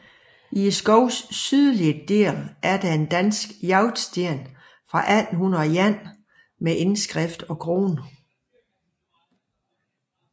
I skovens sydlige del er der en dansk jagtsten fra 1801 med indskrift og krone